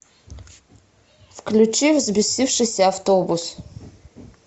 включи взбесившийся автобус